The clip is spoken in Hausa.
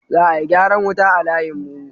Za a yi gyaran wuta a layin mu